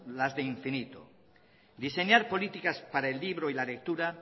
las de infinito diseñar políticas para el libro y la lectura